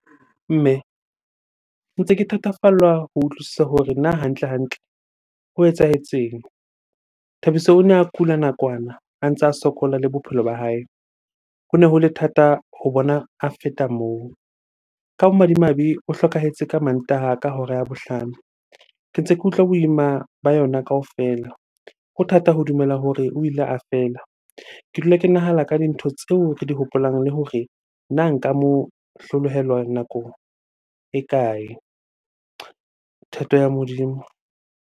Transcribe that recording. Mme, ntse ke thatafallwa ho utlwisisa hore na hantle-hantle ho etsahetseng? Thabiso o ne a kula nakwana a ntsa sokola le bophelo ba hae, hone ho le thata ho bona a feta moo. Ka bomadimabe o hlokahetse ka Mantaha ka hora ya bohlano, ke ntse ke utlwa boima ba yona kaofela. Ho thata ho dumela hore o ile a fela. Ke dula ke nahana ka dintho tseo re di hopolang le hore na nka mo hlolohelwa nako e kae? Thato ya Modimo.